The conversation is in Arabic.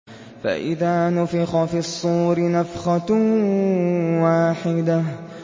فَإِذَا نُفِخَ فِي الصُّورِ نَفْخَةٌ وَاحِدَةٌ